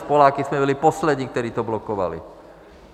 S Poláky jsme byli poslední, kteří to blokovali.